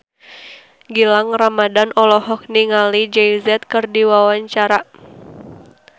Gilang Ramadan olohok ningali Jay Z keur diwawancara